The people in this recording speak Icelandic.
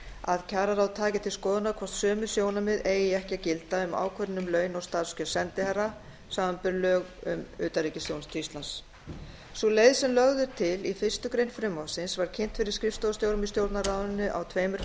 að kjararáð taki til skoðunar hvort sömu sjónarmið eigi ekki að gilda um ákvörðun um laun og starfskjör sendiherra samanber lög um utanríkisþjónustu íslands sú leið sem lögð er til í fyrstu grein frumvarpsins var kynnt fyrir skrifstofustjórum í stjórnarráðinu á tveimur